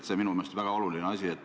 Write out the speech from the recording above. See on minu meelest väga oluline asi.